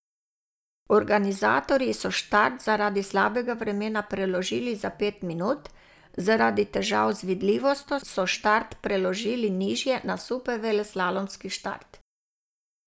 Organizatorji so štart zaradi slabega vremena preložili za pet minut, zaradi težav z vidljivostjo so štart preložili nižje na superveleslalomski štart.